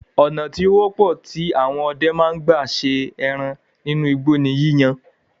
Ònà tí ó wọ́pọ̀ tí àwọn ọdẹ ma ń gbà se ẹran nínú igbó ní yíyan án